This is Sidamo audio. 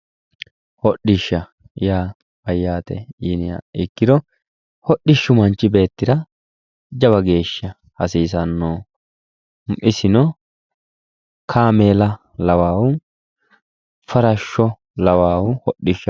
Hodhi'sha ya mayaate yiniha ikiro hodhi'shu manchi beetira jawa geesha hasiisanoho isino kaameela lawahu farashsho lawahu hodhi'shaho